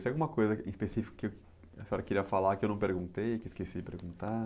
Tem alguma coisa em específico que a senhora queria falar que eu não perguntei, que eu esqueci de perguntar?